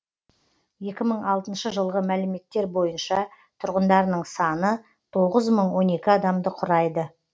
екі мың алтыншы жылғы мәліметтер бойынша тұрғындарының саны тоғыз мың он екі адамды құрайды